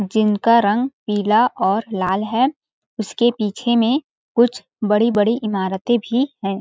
जिनका रंग पीला और लाल है उसके पीछे में कुछ बड़ी-बड़ी इमारते भी है।